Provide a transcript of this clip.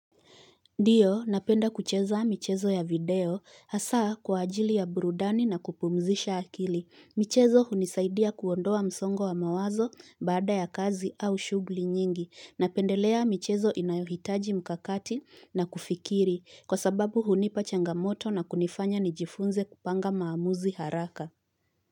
Ndiyo napenda kucheza michezo ya video hasaa kwa ajili ya burudani na kupumzisha akili. Michezo hunisaidia kuondoa msongo wa mawazo baada ya kazi au shughuli nyingi. Napendelea michezo inayohitaji mkakati na kufikiri kwa sababu hunipa changamoto na kunifanya nijifunze kupanga maamuzi haraka.